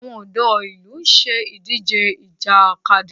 Àwọn ọ̀dọ́ ìlú ń ṣe idije Ìjàkadì